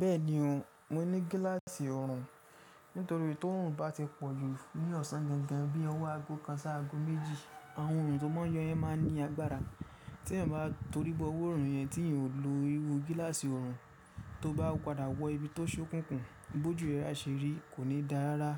Bẹ́ẹ̀ni o, mo ní gíláàsì ọrùn. Nítorí tí ọrùn bá ti pọ̀jù ní ọ̀sán gangan bí i ọwọ́ aago kan sí aago méjì, àwọn ọrùn tó máa n yọ yẹn máa n ní agbára. Tí ẹ̀yan bá torí bọ iru ọrùn yẹn tí eyan ò lo irú gíláàsì ọrùn, tó bá padà wọ ibi tó ṣókùnkùn, bójú rẹ á ṣe rí, kò ní dára rárá.